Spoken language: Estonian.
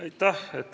Aitäh!